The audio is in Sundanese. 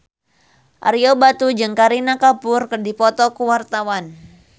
Ario Batu jeung Kareena Kapoor keur dipoto ku wartawan